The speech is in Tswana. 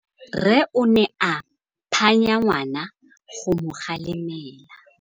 Rre o ne a phanya ngwana go mo galemela.